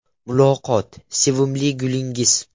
Muloqot: Sevimli gulingiz?